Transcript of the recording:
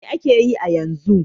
Mai ake yi yanzu?